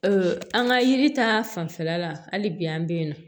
an ka yiri ta fanfɛla la hali bi an be yen nɔ